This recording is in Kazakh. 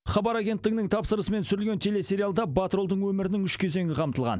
хабар агенттігінің тапсырысымен түсірілген телесериалда батыр ұлдың өмірінің үш кезеңі қамтылған